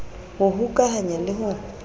d ho hokahanya le ho